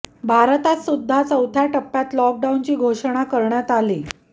भारतात सुद्धा चौथ्या टप्प्यात लॉकडाऊनची घोषणा करण्यात आली